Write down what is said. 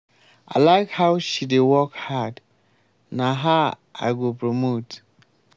i like how she dey work hard. na her i go promote.